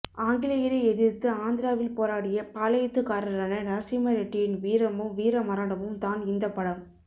ஆங்கிலேயரை எதிர்த்து ஆந்திராவில் போராடிய பாளையத்துக்காரரான நரசிம்மரெட்டியின் வீரமும் வீரமரணமும் தான் இந்த படம்